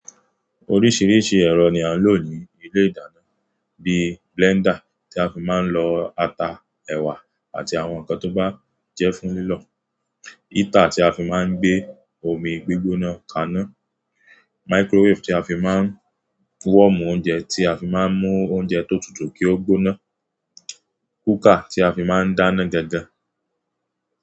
Oríṣìíríṣìí ẹ̀rọ ni a ń lò ní ilé ìdáná bíi blender tí a fi máa ń lọ ata, ẹ̀wà àti àwọn nǹkan tó bá jẹ́ fún lílọ̀, heater tí a fi máa ń gbé omi gbígbóná kaná, microwave tí a fi máa ń wọ̀mù oúnjẹ, tí a fi máa ń mú oúnjẹ tó tutù kí ó gbóná, cooker tí a fi máa ń dáná gangan.